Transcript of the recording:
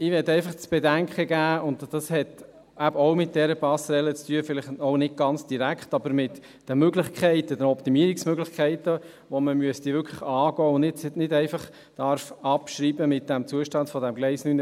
Ich möchte einfach zu bedenken geben – das hat eben auch mit dieser Passerelle zu tun, vielleicht auch nicht ganz direkt, aber mit den Optimierungsmöglichkeiten, die man angehen müsste und nicht einfach abschreiben darf, mit diesem Zustand des Gleises 49/50: